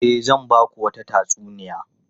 E, zan ba ku wata tatsuniya.